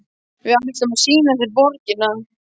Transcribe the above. Við ætlum að sýna þér borgina.